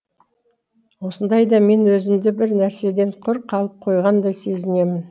осындайда мен өзімді бір нәрседен құр қалып қойғандай сезінемін